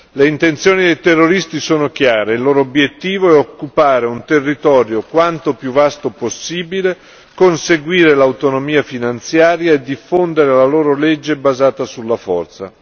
Le intenzioni dei terroristi sono chiare, il loro obiettivo è di occupare un territorio quanto più vasto possibile, conseguire l'autonomia finanziaria e diffondere la loro legge basata sulla forza.